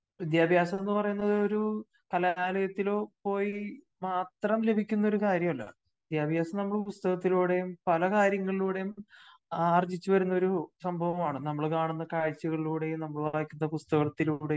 വിദ്യാഭ്യാസം എന്ന് പറയുന്നത് ഒരു കലാലയത്തിലോ പോയി മാത്രം ലഭിക്കുന്ന ഒരു കാര്യമല്ല. വിദ്യാഭ്യാസം നമ്മള് പുസ്തകത്തിലൂടെയും പല കാര്യങ്ങളിലൂടെയും ആർജ്ജിച്ചു വരുന്ന ഒരു സംഭവമാണ്. നമ്മള് കാണുന്ന കാഴ്ചകളിലൂടെയും നമ്മള് വായിക്കുന്ന പുസ്തകത്തിലൂടെയും